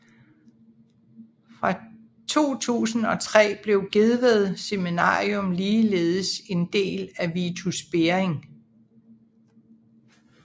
Fra 2003 blev Gedved Seminarium ligeledes en del af Vitus Bering